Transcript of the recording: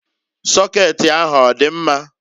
Sokeeti ahụ ọdị mma?